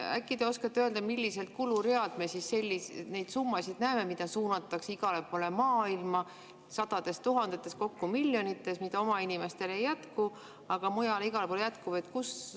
Äkki te oskate öelda, millistel kuluridadel me neid summasid näeme, mida suunatakse igale poole maailma sadades tuhandetes, kokku miljonites, mida oma inimestele ei jätku, aga mujale igale poole jätkub.